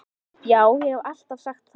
Já, ég haf alltaf sagt það.